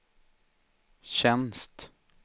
tjänst